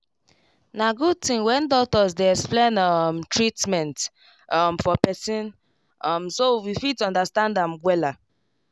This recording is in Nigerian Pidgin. na good thing when doctors dey explain um treatment um for person um so we fit dey understand am wella